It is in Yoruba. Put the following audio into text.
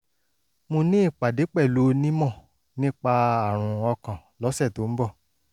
mo ní ìpàdé pẹ̀lú onímọ̀ nípa àrùn ọkàn lọ́sẹ̀ tó ń bọ̀